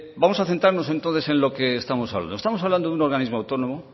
vamos a centrarnos entonces en lo que estamos hablando estamos hablando de un organismo autónomo